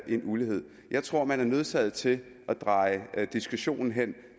en ulighed jeg tror man er nødsaget til at dreje diskussionen hen